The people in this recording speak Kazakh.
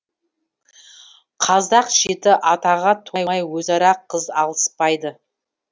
қазақ жеті атаға толмай өзара қыз алыспайды